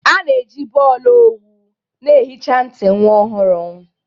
A na-eji bọọlụ owu na-ehicha ntị nwa ohuru.